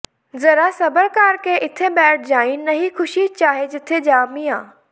ਜ਼ਰਾ ਸਬਰ ਕਰ ਕੇ ਇੱਥੇ ਬੈਠ ਜਾਈਂ ਨਹੀਂ ਖ਼ੁਸ਼ੀ ਚਾਹੇ ਜਿੱਥੇ ਜਾ ਮੀਆਂ